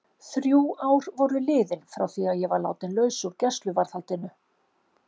Þrjú ár voru liðin frá því að ég var látin laus úr gæsluvarðhaldinu.